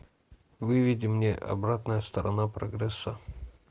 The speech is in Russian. выведи мне обратная сторона прогресса